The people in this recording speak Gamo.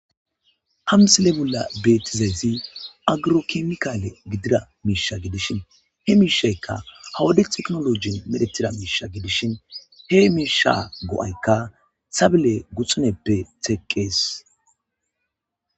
Amsile bolla beetizayzi agirokimkaale gidida miisha gidishin he miishaykka hawode eknologin medetira miisha gidishin he miisha go'aykka xabile guxuneppe teqqees.